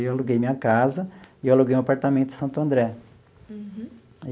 Aí eu aluguei minha casa e aluguei um apartamento em Santo André. Uhum.